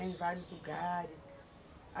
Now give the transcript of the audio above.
Em vários lugares.